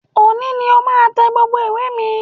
Òní ni o máa tẹ gbogbo ìwé mi!